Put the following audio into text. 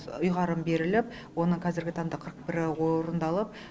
ұйғарым беріліп оны қазіргі таңда қырық бірі орындалып